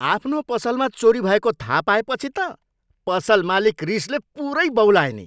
आफ्नो पसलमा चोरी भएको थाहा पाएपछि त पसल मालिक रिसले पुरै बौलाए नि!